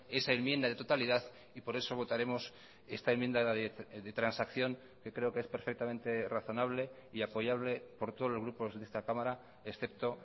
esa enmienda de totalidad y por eso votaremos esta enmienda de transacción que creo que es perfectamente razonable y apoyable por todos los grupos de esta cámara excepto